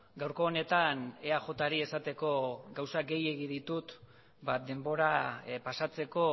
gaurko honetan eajri esateko gauza gehiegi ditut denbora pasatzeko